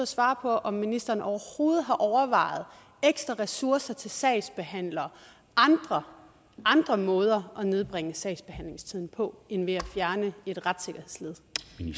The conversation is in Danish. svare på om ministeren overhovedet har overvejet ekstra ressourcer til sagsbehandere andre måder at nedbringe sagsbehandlingstiden på end ved at fjerne et retssikkerhedsled